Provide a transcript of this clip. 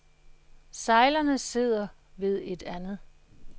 Sejlerne sidder ved et andet.